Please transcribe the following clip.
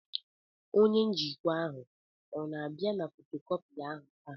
Onye njikwa ahụ ọ na-abịa na fotocopier taa?